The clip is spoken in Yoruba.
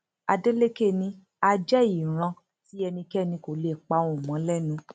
adeleke ni a jẹ ìran tí ẹnikẹni kò lè pa ohùn mọ lẹnu